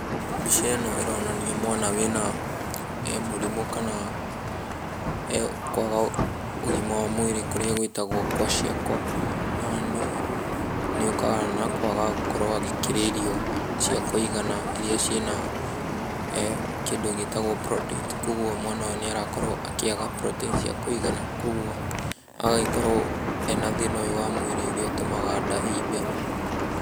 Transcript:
Mbica ĩno ĩronania mwana wĩna mũrimũ kana kwaga ũgima wa mwĩrĩ kũrĩa gwĩtagwo kwashiorkor na nĩ ũkaga na kwaga gũkorwo agĩkĩrĩa irio cia kũigana iria cirĩ na eh kĩndũ gĩtagwo proteins .Koguo mwana ũyũ nĩarakorwo akĩaga proteins cia kũigana koguo agagĩkorwo arĩ na thĩna ũyũ wa mwĩrĩ ũrĩa ũtũmaga nda ĩimbe.